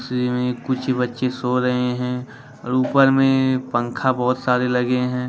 कुछ बच्चे सो रहे हैं और ऊपर में पंखा बहोत सारे लगे हैं।